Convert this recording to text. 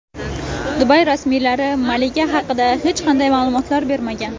Dubay rasmiylari malika haqida hech qanday ma’lumotlar bermagan.